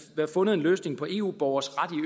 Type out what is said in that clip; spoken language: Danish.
være fundet en løsning på eu borgeres ret